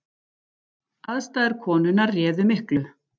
Aðstæður konunnar réðu miklu